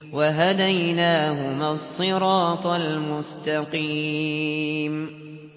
وَهَدَيْنَاهُمَا الصِّرَاطَ الْمُسْتَقِيمَ